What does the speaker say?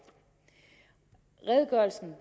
redegørelsen